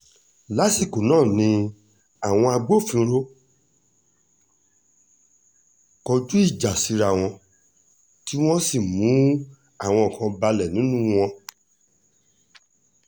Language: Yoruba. lásìkò náà ni àwọn àtàwọn agbófinró kọjú ìjà síra wọn tí wọ́n sì mú àwọn kan balẹ̀ nínú wọn